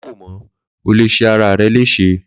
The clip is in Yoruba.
Ma fo mo, ọ lé ṣe ara rè lese